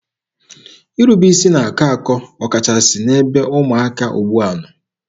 Irube isi na-akọ akọ ọkachasị n'ebe ụmụaka ugbua nọ.